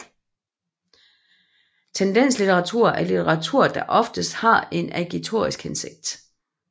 Tendenslitteratur er litteratur der oftest har en agitorisk hensigt